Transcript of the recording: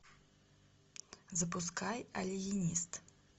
запускай алиенист